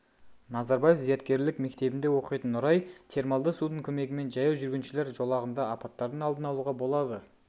назарбаев зияткерлік мектебінде оқитын нұрай термалды судың көмегімен жаяу жүргіншілер жолағында апаттардың алдын алуға болады